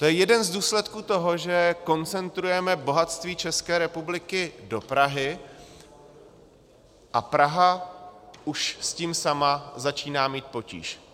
To je jeden z důsledků toho, že koncentrujeme bohatství České republiky do Prahy, a Praha už s tím sama začíná mít potíž.